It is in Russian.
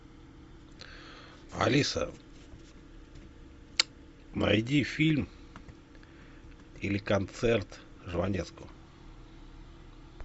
алиса найди фильм или концерт жванецкого